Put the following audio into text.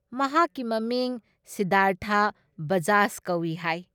ꯃꯍꯥꯛꯀꯤ ꯃꯃꯤꯡ ꯁꯤꯙꯥꯔꯊ ꯕꯖꯥꯖ ꯀꯧꯏ ꯍꯥꯏ ꯫